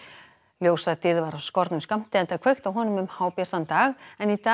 ljósadýrð var af skornum skammti enda kveikt á honum um hábjartan dag en í dag